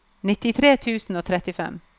nittitre tusen og trettifem